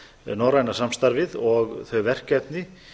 norræna samstarfið og þau verkefni